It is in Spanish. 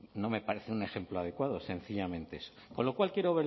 no me parece un ejemplo adecuado sencillamente eso con lo cual quiero